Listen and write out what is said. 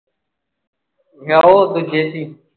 ਯਾਰ ਉਹ ਦੂਜੇ ਵਿਚ ਹੀ